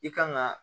I kan ga